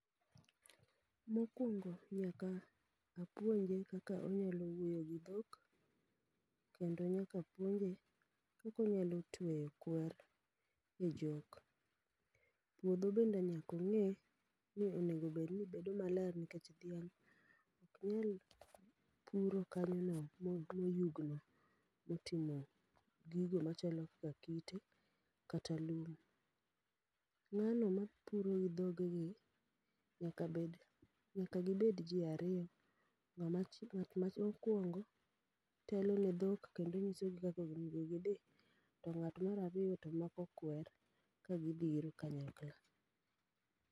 Mo kwongo nyaka apuonje kaka onyako wuoyo gi dhok, kendo nyaka puonje kaka onyalo tweyo kweru e jok. Puodho bende nyaka ong'e ni onego bed ni bedo maler nikech dhiang' ok nyal puro kanyo moyugno. Moting'o gigo machalo kaka kite kata lum. Ng'ano ma puro gi dhogegi nyaka gibed ji ariyo ngat mokwongo telo ne dhok kendo nyiso gi kaka githi to ng'at mar ariyo to mako kwer kagi biro ka nyakla.